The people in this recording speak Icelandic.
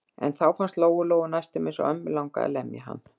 En þá fannst Lóu-Lóu næstum eins og ömmu langaði að lemja hann.